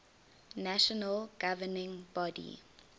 national governing body